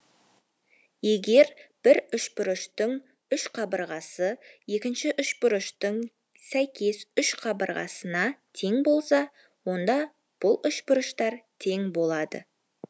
егер бір үшбұрыштың үш қабырғасы екінші үшбұрыштың сәйкес үш қабырғасына тең болса онда бұл үшбұрыштар тең болады